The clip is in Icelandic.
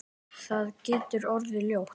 Það getur orðið ljótt.